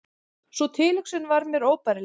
Sú tilhugsun var mér óbærileg.